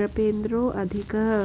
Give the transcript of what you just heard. नृपेन्द्रोऽधिकः